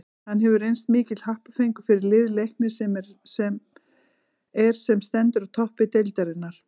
Hann hefur reynst mikill happafengur fyrir lið Leiknis sem er sem stendur á toppi deildarinnar.